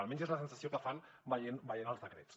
almenys és la sensació que fan veient els decrets